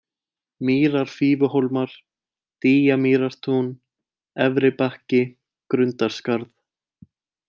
Mýrar-Fífuhólmar, Dýjamýrartún, Efribakki, Grundarskarð